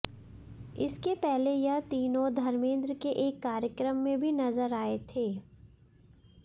इसके पहले यह तीनों धर्मेन्द्र के एक कार्यक्रम में भी नजर आए थे